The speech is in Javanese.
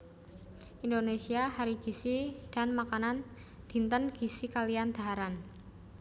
Indonesia Hari Gizi dan Makanan Dinten Gizi kaliyan Dhaharan